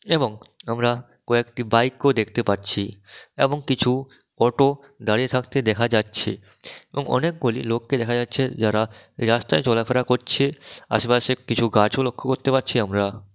এবং আমরা কয়েকটি বাইক -ও দেখতে পাচ্ছি এবং কিছু অটো দাঁড়িয়ে থাকতে দেখা যাচ্ছে এবং অনেকগুলি লোককে দেখা যাচ্ছে যারা রাস্তায় চলাফেরা করছে। আশেপাশে কিছু গাছও লক্ষ্য করতে পারছি আমরা।